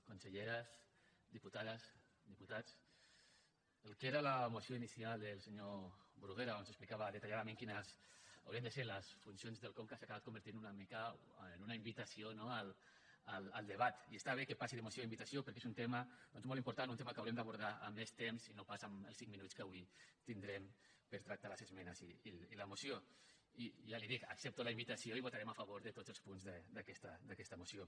conselleres diputades diputats el que era la moció inicial del senyor bruguera on s’explicava detalladament quines haurien de ser les funcions del conca s’ha acabat convertint una mica en una invitació no al debat i està bé que passi de moció a invitació perquè és un tema doncs molt important un tema que haurem d’abordar amb més temps i no pas amb els cinc minuts que avui tindrem per tractar les esmenes i la moció i ja li ho dic accepto la invitació i votarem a favor de tots els punts d’aquesta moció